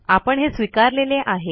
आपण हे स्वीकारलेले आहे